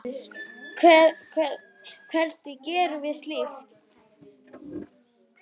Hvernig gerum við slíkt?